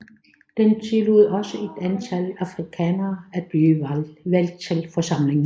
Den tillod også et antal afrikanere at blive valgt til forsamlingen